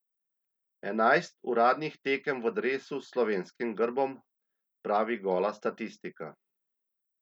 Enajst uradnih tekem v dresu s slovenskim grbom, pravi gola statistika.